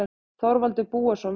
Þorvaldur Búason, viðtal